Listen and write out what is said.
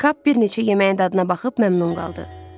Kap bir neçə yeməyin dadına baxıb məmnun qaldı.